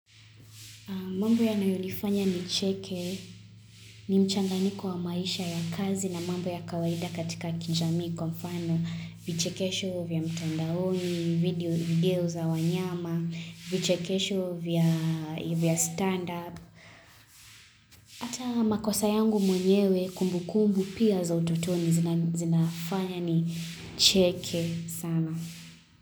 Mambo yanayonifanya nicheke, ni mchanganyiko wa maisha ya kazi na mambo ya kawaida katika ki jamii kwa mfano, vichekesho vya mtandaoni, video video za wanyama, vichekesho vya stand up, ata makosa yangu mwenyewe kumbu kumbu pia za utotoni zinafanya nicheke sana.